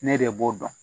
Ne de b'o dɔn